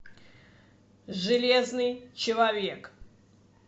железный человек